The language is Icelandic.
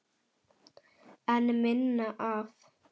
En minna af?